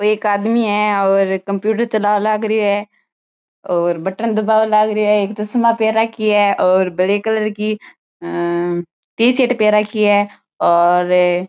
वो एक आदमी है और कंप्यूटर चला लागरी है और बटन दबाव लागरी है एक चश्मा पहर राखी है और बड़े कलर की टीशर्ट पहर राखी है और --